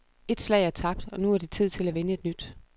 Et slag er tabt, nu er det tid til at vinde et nyt.